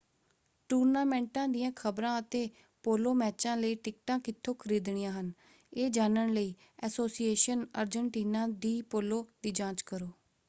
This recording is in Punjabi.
ਟੂਰਨਾਮੈਂਟਾਂ ਦੀਆਂ ਖਬਰਾਂ ਅਤੇ ਪੋਲੋ ਮੈਚਾਂ ਲਈ ਟਿਕਟਾਂ ਕਿੱਥੋਂ ਖਰੀਦਣੀਆਂ ਹਨ ਇਹ ਜਾਣਨ ਲਈ ਐਸੋਸੀਏਸ਼ਨ ਅਰਜਨਟੀਨਾ ਡੀ ਪੋਲੋ ਦੀ ਜਾਂਚ ਕਰੋ।